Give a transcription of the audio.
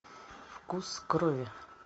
вкус крови